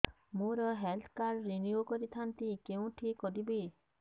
ମୋର health card renew କରିଥାନ୍ତି କୋଉଠି କରିବି